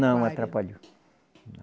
Não atrapalhou. Não